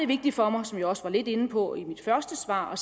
vigtigt for mig som jeg også var lidt inde på i mit første svar